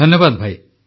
ଧନ୍ୟବାଦ ଭାଇ